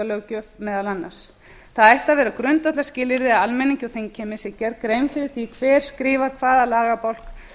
að vera grundvallarskilyrði að almenningi og þingheimi sé gerð grein fyrir því hver skrifar hvaða lagabálk